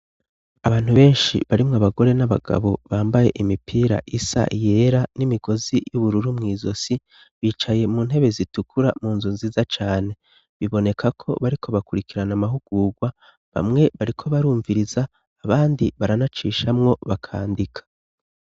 abantu benshi barimwo abagore n'abagabo bambaye imipira isa yera n'imigozi y'ubururu mwizosi bicaye mu ntebe zitukura mu nzu nziza cane biboneka ko bariko bakurikirana amahugurgwa bamwe bariko barumviriza abandi baranacishamwo bakandika